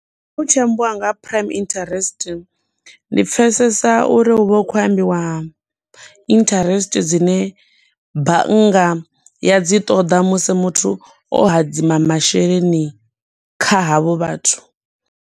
Hu tshi ambiwa nga ha prime interest, ndi pfesesa uri hu vha hu khou ambiwa interest dzine bannga ya dzi ṱoḓa musi muthu o hadzima masheleni kha havho vhathu.